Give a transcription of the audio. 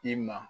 I ma